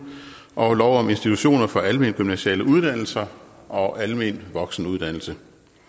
og lov om institutioner for almengymnasiale uddannelser og almen voksenuddannelse